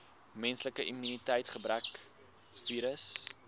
menslike immuniteitsgebrekvirus